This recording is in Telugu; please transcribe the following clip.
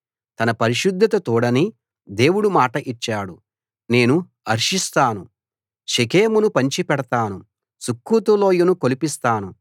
తన పరిశుద్ధత తోడని దేవుడు మాట ఇచ్చాడు నేను హర్షిస్తాను షెకెమును పంచిపెడతాను సుక్కోతు లోయను కొలిపిస్తాను